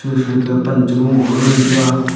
kusui kah pan che gunglo ye ngantaga.